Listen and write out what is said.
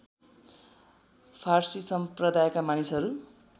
फारसी सम्प्रदायका मानिसहरू